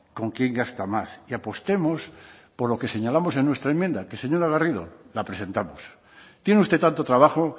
con quién gasta más y apostemos por lo que señalamos el nuestra enmienda que señora garrido la presentamos tiene usted tanto trabajo